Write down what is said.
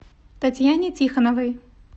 татьяне тихоновой